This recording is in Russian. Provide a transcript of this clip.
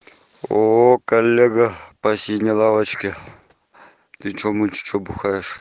ооо коллега по синей лавочке ты что мы че бухаешь